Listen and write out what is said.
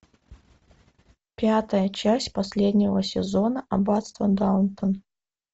пятая часть последнего сезона аббатство даунтон